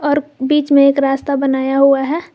और बीच में एक रास्ता बनाया हुआ है।